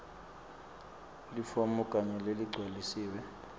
lifomu lakho leligcwalisiwe